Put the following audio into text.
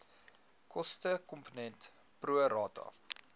kostekomponent pro rata